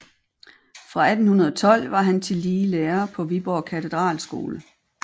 Fra 1812 var han tillige lærer på Viborg Katedralskole